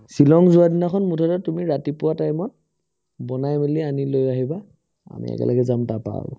ছিলং যোৱাৰ দিনাখন মুঠতে তুমি ৰাতিপুৱাৰ time ত বনাই মিলি আনি লৈ আহিবা আমি একেলগে যাম তাপাই আৰু